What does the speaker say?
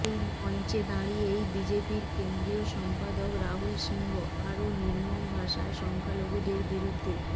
ওই মঞ্চে দাঁড়িয়েই বিজেপির কেন্দ্রীয় সম্পাদক রাহুল সিংহ আরও নির্মম ভাষায় সংখ্যালঘুদের বিরুদ্ধে